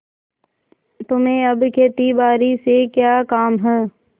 तुम्हें अब खेतीबारी से क्या काम है